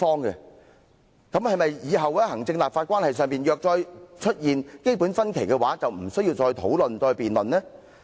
"那麼，若以後行政立法關係出現"基本分歧"，是否也不用討論和辯論？